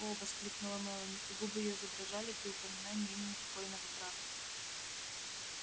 о воскликнула мелани и губы её задрожали при упоминании имени покойного брата